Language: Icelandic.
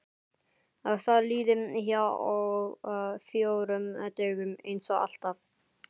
Að það líði hjá á fjórum dögum einsog alltaf.